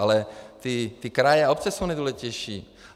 Ale ty kraje a obce jsou nejdůležitější.